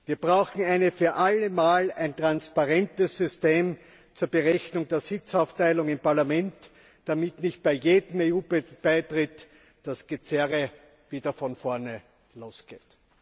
Wir brauchen ein für alle Mal ein transparentes System zur Berechnung der Sitzaufteilung im Parlament, damit nicht bei jedem EU Beitritt das Gezerre wieder von vorne losgeht.